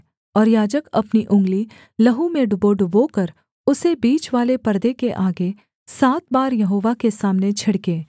और याजक अपनी उँगली लहू में डुबोडुबोकर उसे बीचवाले पर्दे के आगे सात बार यहोवा के सामने छिड़के